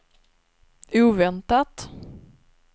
oväntat